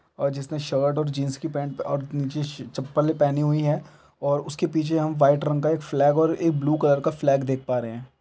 और जिसने शर्ट और जींस की पेंट अअ और निचे चप्पल पहनी हुई है और उसके पीछे हम व्हाइट रंग का एक फ्लैग और एक ब्लू कलर का फ्लैग देख पा रहे हैं ।